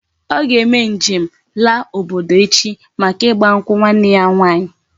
O ga eme njem la obodo echi maka igba nkwu nwanne ya nwanyi